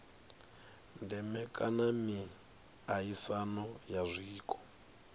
ndeme kha miaisano ya zwiko